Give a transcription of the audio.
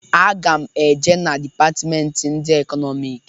Aga m e je na dipatmenti ndị Ekọnọmik.